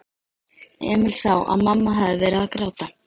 Emil sá að mamma hafði verið að gráta.